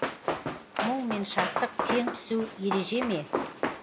мұң мен шаттық тең түсу ереже ме